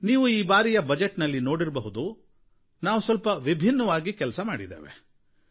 ನೀವು ಈ ಬಾರಿಯ ಮುಂಗಡಪತ್ರದಲ್ಲಿ ನೋಡಿರಬಹುದು ಸ್ವಲ್ಪ ವಿಭಿನ್ನವಾಗಿ ಕೆಲಸ ಮಾಡುವ ಪ್ರಯತ್ನ ಮಾಡಿದ್ದೇವೆ